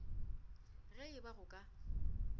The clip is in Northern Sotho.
ge e ba go ka